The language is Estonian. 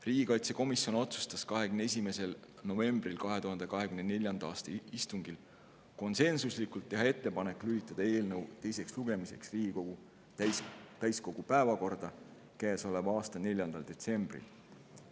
Riigikaitsekomisjon otsustas 21. novembri 2024. aasta istungil konsensuslikult teha ettepaneku lülitada eelnõu teiseks lugemiseks Riigikogu täiskogu käesoleva aasta 4. detsembri päevakorda.